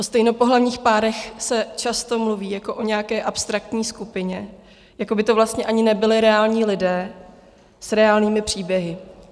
O stejnopohlavních párech se často mluví jako o nějaké abstraktní skupině, jako by to vlastně ani nebyli reální lidé s reálnými příběhy.